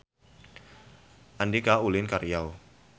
Andika ulin ka Riau